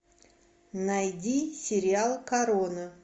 найди сериал корона